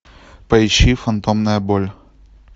поищи фантомная боль